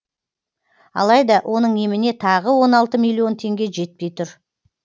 алайда оның еміне тағы он алты миллион теңге жетпей тұр